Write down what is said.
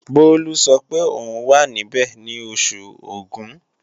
Bólú sọ pé òun wà níbẹ̀ ní Oṣù Ògún